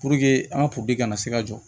an ka kana se ka jɔ